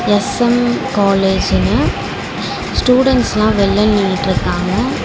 SM காலேஜ்னு ஸ்டுடென்ட்ஸ்லா வெல்ல நின்னுட்ருக்காங்க.